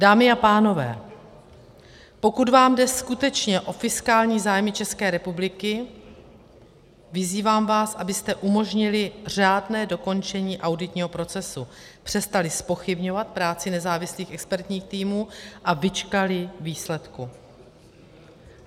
Dámy a pánové, pokud vám jde skutečně o fiskální zájmy České republiky, vyzývám vás, abyste umožnili řádné dokončení auditního procesu, přestali zpochybňovat práci nezávislých expertních týmů a vyčkali výsledků.